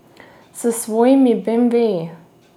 S svojimi beemveji!